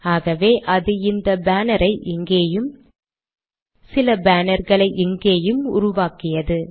ஆகவே அது இந்த பேனரை இங்கேயும் சில பேனர்களை இங்கேயும் உருவாக்கியது